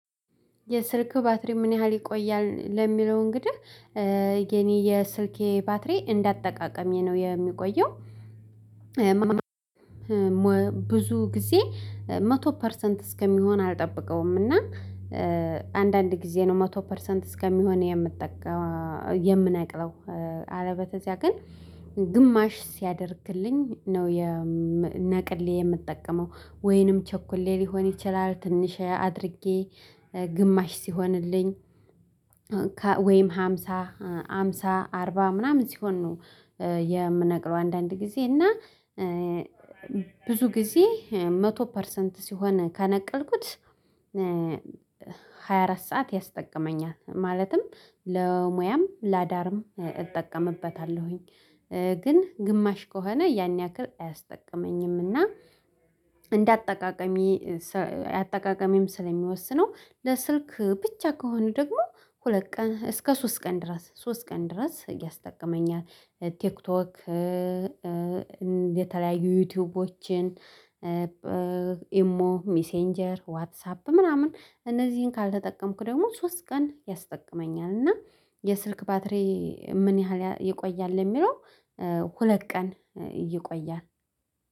የስልክህ ባትሪ ምን ያህል ይቆያል ለሚለው እንግዲህ የእኔ የስልኬ ባትሪ እንዳጠቃቀሜ ነው የሚቆየው። ብዙ ጊዜ መቶ ፐርሰንት እስከሚሆን አልጠበቀውምና አንዳንድ ጊዜ ነው መቶ ፐርሰንት እስከሚሆን የምነቅለው። አለበለዚያ ግን ግማሽ ሲያደርግልኝ ነው ነቅሌ የምጠቀመው ወይንም ቸኩሌ ሊሆን ይችላል ትንሽ አድርጌ ግማሽ ሲሆንልኝ። ወይም ሃምሳ ሃምሳ አርባ ምናምን ሲሆን ነው የምነቅለው አንዳንድ ጊዜ እና ብዙ ጊዜ መቶ ፐርሰንት ሲሆን ከነቀልኩት ሃያ አራት ሰዓት ያስጠቅመኛል ማለትም ለሙያም ለአዳርም እጠቀምበታለሁኝ። ግን ግማሽ ከሆነ ያን ያክል አያስጠቅመኝምና እና እንዳጠቃቀሜ አጠቃቀሜም ስለሚወስነው ለስልክ ብቻ ከሆኑ ደግሞ ሁለት ቀን እስከ ሶስት ቀን ድረስ ሶስት ቀን ድረስ እያስጠቀመኛል። ቲክቶክ የተለያዩ ዩቲዩቦችን ኢሞ ሚሴንጀር ዋትሳፕ ምናምን እነዚህን ካልተጠቀምክ ደግሞ ሶስት ቀን ያስጠቅመኛል። እና የስልክ ባትሪ ምን ያህል ይቆያል? ለሚለው ሁለት ቀን ይቆያል